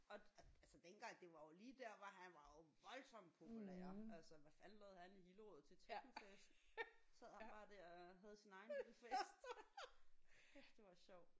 Og altså dengang det var jo lige der hvor han var jo voldsomt populær altså hvad fanden lavede han i Hillerød til technofest. Sad han bare der og havde sin egen lille fest. Kæft det var sjovt